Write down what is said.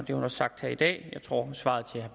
har sagt i dag i svaret til